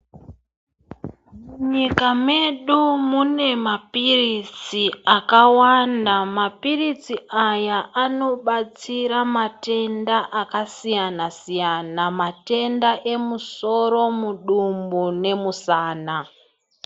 Nyika medu mune mapiritsi akawanda mapiritsi aya anobatsira matenda akasiyana siyana matenda emusoro mudumbu nemusana.